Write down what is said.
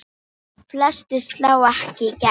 Flestir slá ekki í gegn.